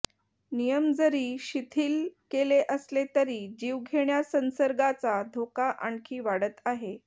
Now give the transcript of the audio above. नियम जरी शिथील केले असले तरी जीवघेण्या संसर्गाचा धोका आणखी वाढत आहे